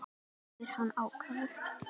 spyr hann ákafur.